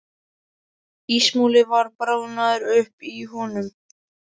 Ísmolinn var bráðnaður upp í honum.